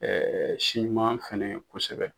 si ɲuman fana ye kosɛbɛ.